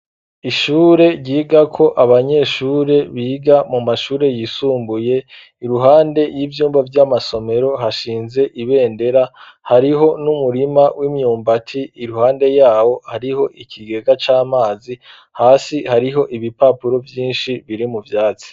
Ishure ryigako abanyeshure biga mu mashure yisumbuye, iruhande y'ivyumba vy'amasomero hashinze ibendera, hariho n'umurima w'imyumbati iruhande yawo hariho ikigega c'amazi, hasi hariho ibipapuro vyinshi biri mu vyatsi.